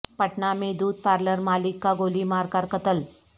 پٹنہ میں دودھ پارلر مالک کا گولی مار کر قتل